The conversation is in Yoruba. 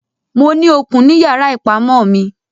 Mo ní okùn ní yàrá ìpamọ́ mi.